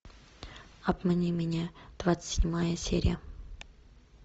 обмани меня двадцать седьмая серия